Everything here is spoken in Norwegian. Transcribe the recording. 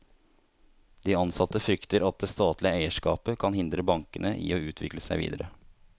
De ansatte frykter at det statlige eierskapet kan hindre bankene i å utvikle seg videre.